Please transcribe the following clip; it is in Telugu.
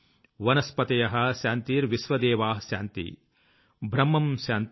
వనస్పతయః శాన్తిర్విశ్వేదేవాః శాన్తిర్బ్రహ్మమ్ శాన్తిః